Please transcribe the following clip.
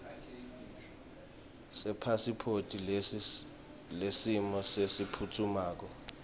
sepasiphothi yesimo lesiphutfumako